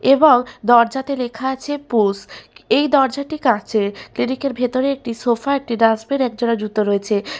এবং দরজাতে লেখা আছে পুস্ এই দরজাটি কাঁচের এদিকে ভিতরে একটি সোফা একটি ডাস্টবিন একজোড়া জুতো রয়েছে ।